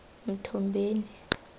mthombeni